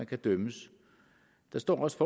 kan dømmes der står også